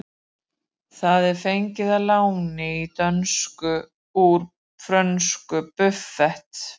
Það er fengið að láni í dönsku úr frönsku buffet.